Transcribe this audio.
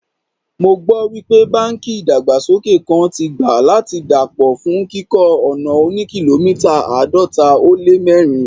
Mo gbọ́ wípé báńkì ìdàgbàsókè kan tí gbà láti dà pọ̀ fún kíkọ́ ọ̀nà òní kìlómítà àádọ́ta ó lé mẹ́rin.